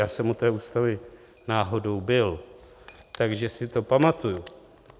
Já jsem u té ústavy náhodou byl, takže si to pamatuji.